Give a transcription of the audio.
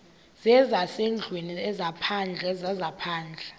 zezasendlwini ezaphandle zezaphandle